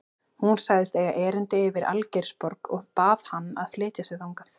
Hún sagðist eiga erindi yfir í Algeirsborg og bað hann að flytja sig þangað.